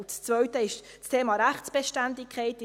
Das Zweite ist das Thema Rechtsbeständigkeit.